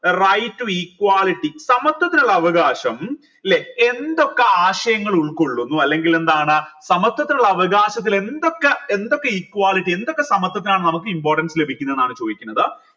right to equality സമത്വത്തിനുള്ള അവകാശം ല്ലെ എന്തൊക്കെ ആശയങ്ങൾ ഉൾക്കൊള്ളുന്നു അല്ലെങ്കിൽ എന്താണ് സമത്വത്തിനുള്ള അവകാശത്തിൽ എന്തൊക്കെ എന്തൊക്കെ equality എന്തൊക്കെ സമത്വതിനാണ് നമുക്ക് importance ലഭിക്കുന്നെന്നാണ് ചോദിക്കുന്നത്